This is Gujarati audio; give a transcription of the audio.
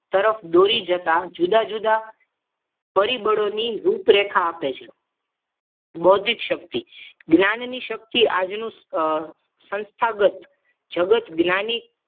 તરફ દોરી જતા જુદા-જુદા પરિબળોની રૂપરેખા આપે છે બૌદ્ધિક શક્તિ જ્ઞાનની શક્તિ આજેનું સંસ્થાગત જગતનું જ્ઞાનની